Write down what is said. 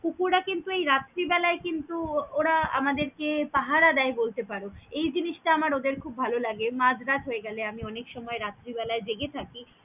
কুকুরা কিন্তু এই রাত্রি বেলায় কিন্তু ওরা আমাদের কে পাহারা দেয় বলতে পারো, এই জিনিসটা আমার ওদের খুব ভালো লাগে মাজ রাত হয়ে গেলে আমি অনেক সময় রাত্রে বেলায় জেগে থাকি।